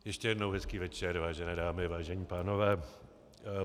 Ještě jednou hezký večer, vážené dámy, vážení pánové.